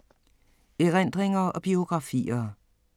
Erindringer og biografier